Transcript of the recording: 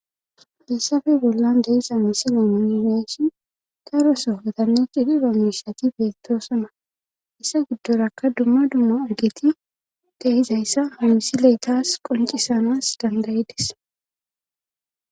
Falissafe bollan dehisa misi lamunineshi garoso otanne cidi roomishati beettoosona issa giddorakka dumma dumma ageti dehizayssa hamisileetas qoncisanas dandayedes